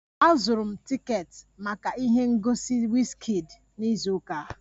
Azụrụ m tiketi maka ihe ngosi Wizkid na izu ụka a